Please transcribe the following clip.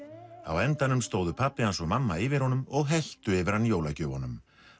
á endanum stóðu pabbi hans og mamma yfir honum og helltu yfir hann jólagjöfunum